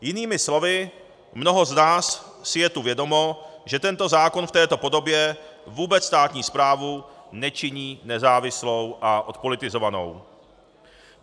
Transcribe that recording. Jinými slovy, mnoho z nás si je tu vědomo, že tento zákon v této podobě vůbec státní správu nečiní nezávislou a odpolitizovanou.